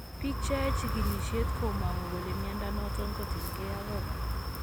Biik cheyae chigilisiet komangu kole mnyondo noton ko tien ag organ